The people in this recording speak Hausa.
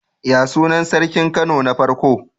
Yaya sunan sarkin Kano na farko?